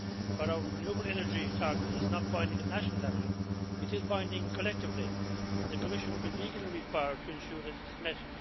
While our renewable energy target is not binding at national level, it is binding collectively, and the Commission will be legally required to ensure that it is met.